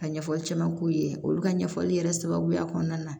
Ka ɲɛfɔli caman k'u ye olu ka ɲɛfɔli yɛrɛ sababuya kɔnɔna na